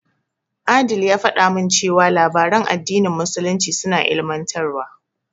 Adeel ya faɗa min cewa labaran addinin musulunci suna ilimantarwa.